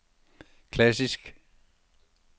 klassisk